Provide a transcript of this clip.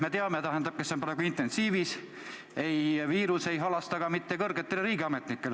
Sest Boris Johnson on praegu intensiivis ja tema näitel me teame, et viirus ei halasta ka mitte kõrgetele riigiametnikele.